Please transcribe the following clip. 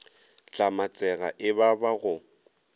hlamatsega e ba ba go